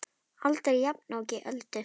Aldrei jafnoki Öldu.